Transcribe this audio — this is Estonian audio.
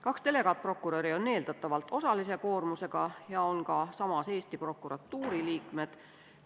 Kaks delegaatprokuröri on eeldatavalt osalise koormusega ja nad on samas Eesti prokuratuuri liikmed.